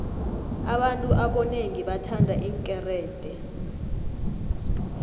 abantu abonengi bathanda iinkerede